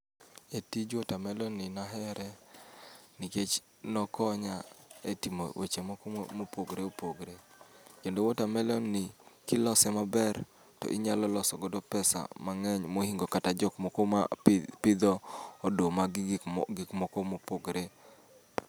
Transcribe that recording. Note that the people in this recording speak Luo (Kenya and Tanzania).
E tij watermelon ni nahere nikech nokonya e timo weche moko mopogore opogre. Kendo watermelon ni kilose maber, to inyalo loso godo pesa mang'eny mohingo kata jok moko ma pi pidho oduma gi gikmo gikmoko mopogre.